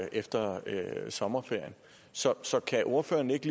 efter sommerferien så så kan ordføreren ikke